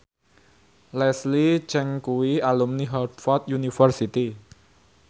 Leslie Cheung kuwi alumni Harvard university